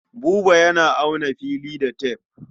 Buba yana auna fili da tef.